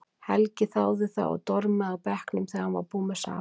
Helgi þáði það og dormaði á bekknum þegar hann var búinn með safann.